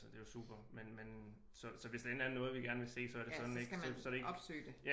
Altså det er jo super men men så så hvis der endelig er noget vi kan gerne vil se så er det sådan ik så så det er ikke